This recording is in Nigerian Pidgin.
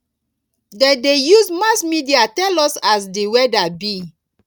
dem dey use mass media tell us as di weather be